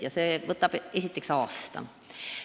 Juba see võtab aasta aega.